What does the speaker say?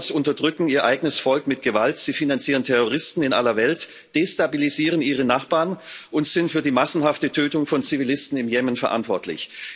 Die Mullahs unterdrücken ihr eigenes Volk mit Gewalt, sie finanzieren Terroristen in aller Welt, destabilisieren ihre Nachbarn und sind für die massenhafte Tötung von Zivilisten im Jemen verantwortlich.